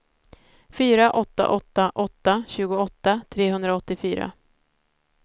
fyra åtta åtta åtta tjugoåtta trehundraåttiofyra